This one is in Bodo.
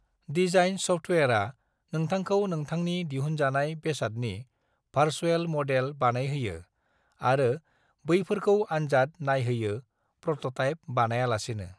डिजाइन सफ्टवेरआ नोंथांखौ नोंथांनि दिहुनजानाय बेसादनि भार्चुएल मडेल बानायहोयो आरो बैफोरखौ आन्जाद नायहोयो प्र'ट'टाइप बानायालासेनो।